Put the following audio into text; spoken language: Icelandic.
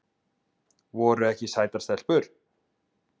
Voru ekki sætar stelpur?